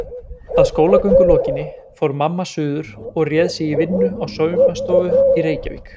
Að skólagöngu lokinni fór mamma suður og réð sig í vinnu á saumastofu í Reykjavík.